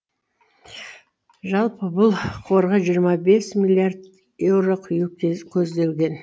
жалпы бұл қорға жиырма бес миллиард еуро құю көзделген